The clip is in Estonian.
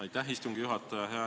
Aitäh, istungi juhataja!